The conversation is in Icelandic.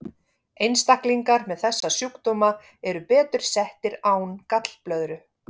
Einstaklingar með þessa sjúkdóma eru betur settir án gallblöðru.